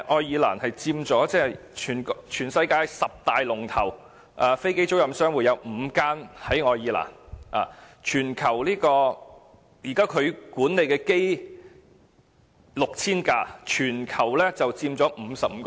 現時全世界十大龍頭的飛機租賃商，有5間設於愛爾蘭，並且管理 6,000 架飛機，佔全球 55%。